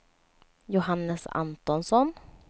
Johannes Antonsson